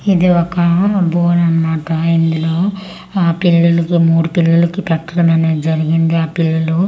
ఇది ఒకామె బోన్ అన్మాట ఇందులో ఆ పిల్లులకు మూడు పిల్లలకి పెట్టడం అనేది జరిగింది ఆ పిల్లలు--